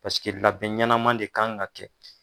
Paseke labɛn ɲanama de kan ka kɛ.